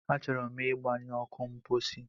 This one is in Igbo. Achọrọ m ịgbanyụ ọkụ mposi.